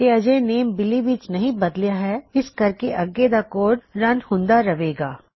ਤੇ ਅਜੇ ਨੇਮ ਬਿਲੀ ਵਿੱਚ ਨਹੀ ਬਦਲਿਆ ਹੈ ਇਸ ਕਰਕੇ ਅੱਗੇ ਦਾ ਕੋਡ ਰਨ ਹੁੰਦਾ ਰਹਵੇ ਗਾ